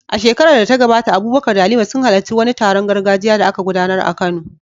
A shekarar da ta gabata, Abubakar da Halima sun halarci wani taron gargajiya da aka gudanar a Kano.